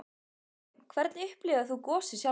Kristján: Hvernig upplifðir þú gosið sjálfur?